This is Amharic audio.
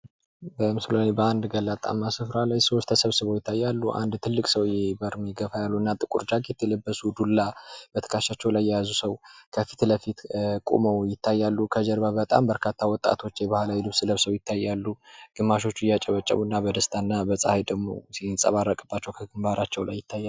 በምስሉ ላይ በአንድ ገላጣማ ስፍራ ላይ ሰዎች ተሰብስበው ይታያሉ አንድ ትልቅ ሰውየ በእድሜ ገፋ ያሉ እና ጥቁር ጃኬት የለበሱ ዱላ በትክሻቸው ላይ የያዙ ሰው ከፊት ለፊት ቁመው ይታያሉ ከጀርባ በጣም በርካታ ወጣቶች የባህላዊ ልብስ ለብሰው ይታያሉ ግማሾች እያጨበጨቡ እና በደስታ እና ፀሀይ ደግሞ ሲንፀባረቅባቸው ከገምባራቸው ላይ ይታያል ።